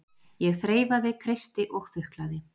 Ég þreifaði, kreisti og þuklaði.